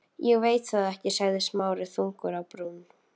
Ég veit það ekki sagði Smári þungur á brún.